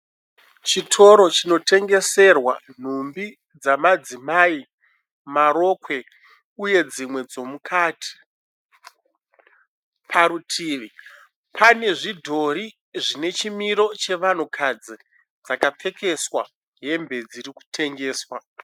Chitoro chinotengeserwa nhumbi dzemadzimai, marokwe uye dzimwe dzemukati. Parutivi panezvidhori zvinechimiro chevanhukadzi dzakapfekeswa hembe dzirikutengeswa.